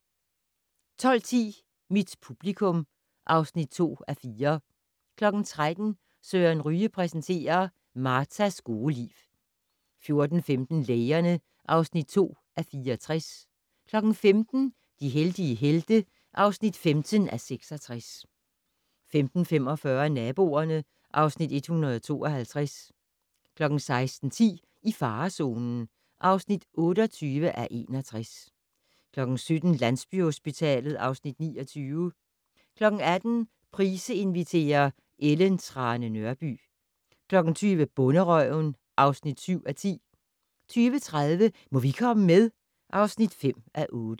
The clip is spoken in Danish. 12:10: Mit publikum (2:4) 13:00: Søren Ryge præsenterer: Martas gode liv 14:15: Lægerne (2:64) 15:00: De heldige helte (15:66) 15:45: Naboerne (Afs. 152) 16:10: I farezonen (28:61) 17:00: Landsbyhospitalet (Afs. 29) 18:00: Price inviterer - Ellen Trane Nørby 20:00: Bonderøven (7:10) 20:30: Må vi komme med? (5:8)